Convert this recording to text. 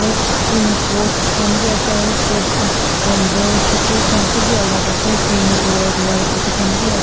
op pink pots khan bhi ase aru pots khan dangor chotu khan sab bhi alag se pink red white etu khan bhi as.